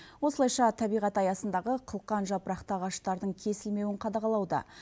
осылайша табиғат аясындағы қылқан жапырақты ағаштардың кесілмеуін қадағалауда